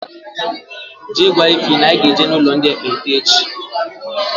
Jee gwa Ịfy na-anyi ga-eje n' ụlọ ndị ekpenta echi!!